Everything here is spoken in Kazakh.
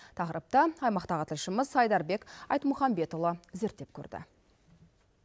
тақырыпты аймақтағы тілшіміз айдарбек айтмұхамбетұлы зерттеп көрді